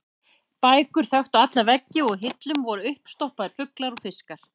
Bækur þöktu alla veggi og á hillum voru uppstoppaðir fuglar og fiskar.